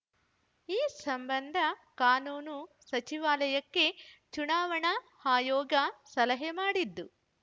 ಈ ಸಂಬಂಧ ಕಾನೂನು ಸಚಿವಾಲಯಕ್ಕೆ ಚುನಾವಣಾ ಆಯೋಗ ಸಲಹೆ ಮಾಡಿದ್ದು